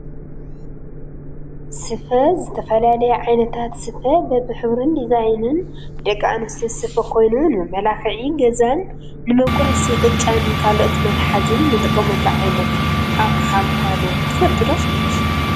ስፈ ዝተፈላለዩ ዓይነታት ስፈ በቢሕብሩን ዲዛይንን ብደቂ ኣንስትዮ ዝስፈ ኮይኑ ንመመላክዒ ገዛን ንመቁረሲ ቅጫን ካልኦት መትሓዚን ንጥቀመሉ ዓይነት ኣቅሓ ምኳኑ ትፈልጡ ዶ?